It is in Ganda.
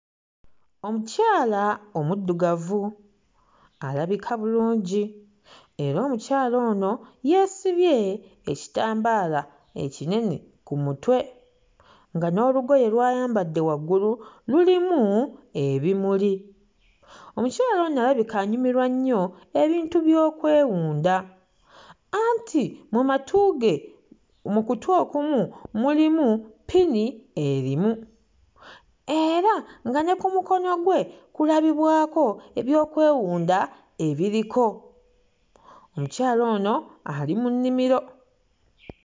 Omukyala omuddugavu alabika bulungi era omukyala ono yeesibye ekitambaala ekinene ku mutwe nga n'olugoye lw'ayambadde waggulu lulimu ebimuli. Omukyala ono alabika anyumirwa nnyo ebintu by'okwewunda anti mu matu ge mu kutu okumu mulimu ppini erimu era nga ne ku mukono gwe kulabibwako ebyokwewunda ebiriko. Omukyala ono ali mu nnimiro.